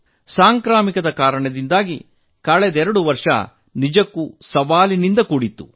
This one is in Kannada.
ಸಾಂಕ್ರಾಮಿಕದ ಕಾರಣದಿಂದ ಕಳೆದೆರಡು ವರ್ಷ ನಿಜಕ್ಕೂ ಸವಾಲಿನಿಂದ ಕೂಡಿತ್ತು